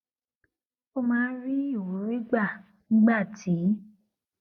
ó máa ń rí ìwúrí gbà nígbà tí